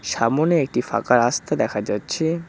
সামোনে একটি ফাঁকা রাস্তা দেখা যাচ্ছে।